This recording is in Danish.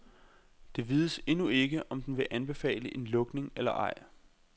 Det vides endnu ikke, om den vil anbefale en lukning eller ej.